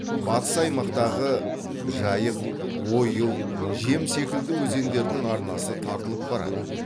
батыс аймақтағы жайық ойыл жем секілді өзендердің арнасы тартылып барады